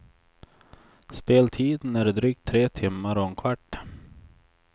Speltiden är drygt tre timmar och en kvart.